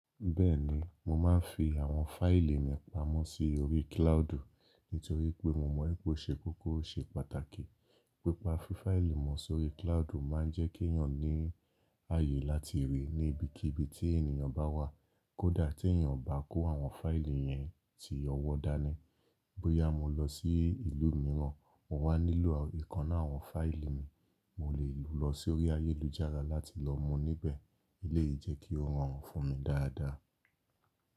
Bẹ́ẹ̀ni, mo máa ń fi àwọn fáìlì mi pamọ́ sórí cloudu nítorí pé mo mọ̀ pé ó ṣe kókó ó ṣe pàtàkì. Pípa fí fáìlì mọ sórí cloudu máa ń jẹ́ kí èyàn ní ààyè láti rí i níbikíbi tí ènìyàn bá wà. Kódà tí èyàn bá kó àwọn fáìlì yẹn ti ọwọ́ dání. Bóyá mo lọ sí ìlú mìíràn, mo wá nílò ìkan nnu àwọn fáìlì mi, mo lè lọ sórí ayélujára láti lọ mú níbẹ̀. Eléyìí jẹ́ kí ó rọrùn fún mi dáadáa.